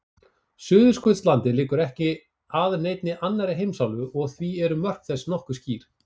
Suðurskautslandið liggur ekki að neinni annarri heimsálfu og því eru mörk þess nokkuð skýr.